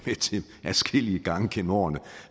adskillige gange gennem årene